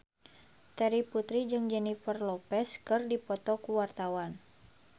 Terry Putri jeung Jennifer Lopez keur dipoto ku wartawan